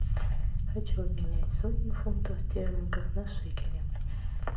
хочу обменять сотню фунтов стерлингов на шекели